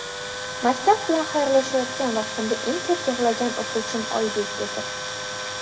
maktab bilan xayrlashayotgan vaqtimda eng ko‘p yig‘lagan o‘quvchim Oybek edi.